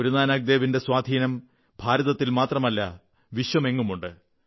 ഗുരുനാനക് ദേവിന്റെ സ്വാധീനം ഭാരതത്തിൽ മാത്രമല്ല വിശ്വമെങ്ങുമുണ്ട്